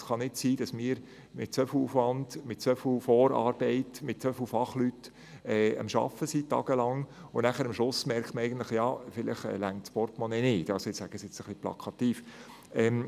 Es kann nicht sein, dass wir mit einem so grossen Aufwand und mit so viel Vorarbeiten und Fachpersonen tage- lang arbeiten, man aber am Schluss feststellt, dass das Geld nicht reicht.